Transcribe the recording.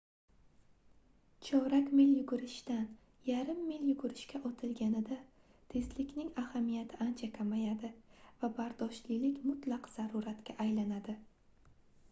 chorak mil yugurishdan yarim mil yugurishga otilganida tezlikning ahamiyatini ancha kamayadi va bardoshlilik mutlaq zaruriyatga aylanadi